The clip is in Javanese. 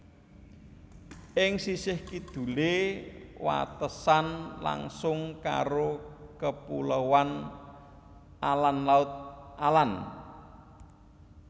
Ing sisih kidule watesan langsung karo Kepuloan Âland Laut Âland